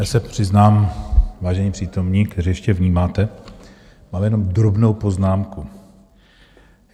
Já se přiznám, vážení přítomní, kteří ještě vnímáte, mám jenom drobnou poznámku.